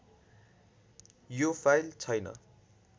यो फाइल छैन